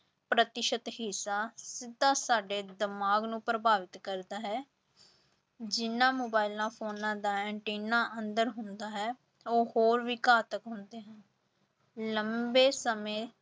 ਪ੍ਰਤੀਸ਼ਤ ਹਿੱਸਾ ਸਿੱਧਾ ਸਾਡੇ ਦਿਮਾਗ ਨੂੰ ਪ੍ਰਭਾਵਿਤ ਕਰਦਾ ਹੈ ਜਿਹਨਾਂ ਮੋਬਾਇਲਾਂ ਫ਼ੋਨਾਂ ਦਾ ਐਨਟੀਨਾ ਅੰਦਰ ਹੁੰਦਾ ਹੈ ਉਹ ਹੋਰ ਵੀ ਘਾਤਕ ਹੁੰਦੇ ਹਨ, ਲੰਬੇ ਸਮੇਂ